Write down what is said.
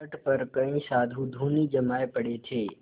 तट पर कई साधु धूनी जमाये पड़े थे